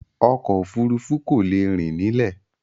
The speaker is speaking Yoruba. Ọkọ̀ òfurufú kò lè rìn nílẹ̀.